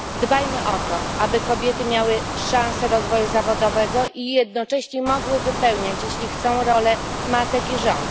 Dbajmy o to, aby kobiety miały szanse rozwoju zawodowego i jednocześnie mogły wypełniać, jeśli chcą, rolę matek i żon.